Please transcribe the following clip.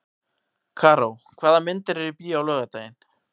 Karó, hvaða myndir eru í bíó á laugardaginn?